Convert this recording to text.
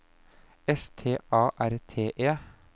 S T A R T E